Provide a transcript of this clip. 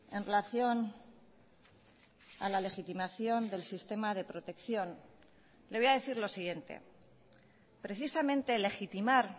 en relación a la legitimación del sistema de protección le voy a decir lo siguiente precisamente legitimar